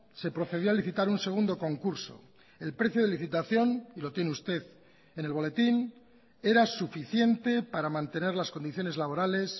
se procedió a licitar un segundo concurso el precio de licitación y lo tiene usted en el boletín era suficiente para mantener las condiciones laborales